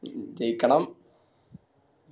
ജയിക്കണം